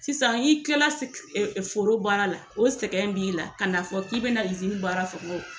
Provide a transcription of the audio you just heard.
Sisan i kila foro baaraw la, o sɛgɛn b'i la ka n'a fɔ k'i bɛna izini baara